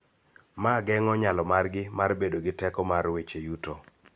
Ma geng�o nyalo margi mar bedo gi teko mar weche yuto.